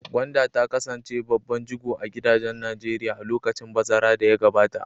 Gwanda ta kasance babban jigo a gidajen Najeriya a lokacin bazara da ya gabata.